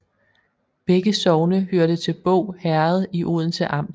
Begge sogne hørte til Båg Herred i Odense Amt